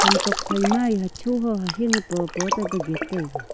tokphai ma yeh hacho ho hahing popo taipe gate taiga.